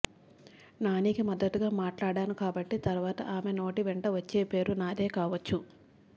నానికి మద్దతుగా మాట్లాడాను కాబట్టి తరవాత ఆమె నోటి వెంట వచ్చే పేరు నాదే కావచ్చు